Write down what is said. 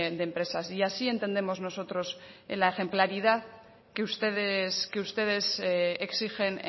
de empresas y así entendemos nosotros la ejemplaridad que ustedes que ustedes exigen